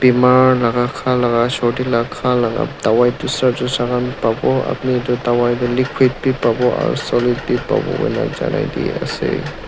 bimar laka khalaka sordi la khalaka dawai dusra dusra khan babo apni etu dawai tu liquid bi babo aro solid bi babo koikena janaide ase.